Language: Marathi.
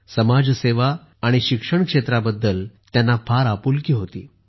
समाजसेवा आणि शिक्षण क्षेत्राबद्दल त्यांना फार आपुलकी होती